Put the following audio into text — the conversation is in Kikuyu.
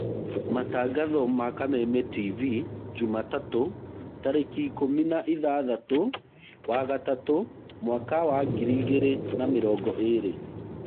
Matangatho ma Kameme tivi njumatatũ, tarĩki ikũmi na ithathatũwa ĩtatũ, mwaka wa ngiri igĩrĩ na mĩrongo ĩrĩ.